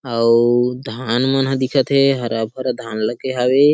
अऊ धान मन ह दिखा थे हरा-भरा धान लगे हवे।